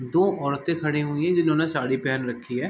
दो औरते खड़ी हुई हैं जिन्होंने साड़ी पेहेन रखी है।